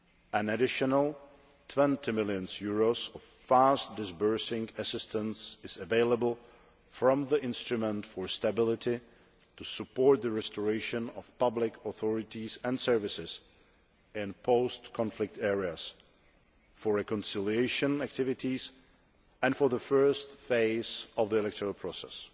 An additional EUR 20 million of fast disbursing assistance is available from the Instrument for Stability to support the restoration of public authorities and services in post conflict areas, for reconciliation activities and for the first phase of the electoral process.